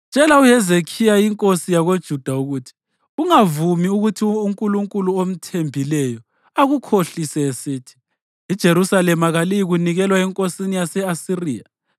“Tshela uHezekhiya inkosi yakoJuda ukuthi: Ungavumi ukuthi unkulunkulu omthembileyo akukhohlise esithi, ‘IJerusalema kaliyikunikelwa enkosini yase-Asiriya.’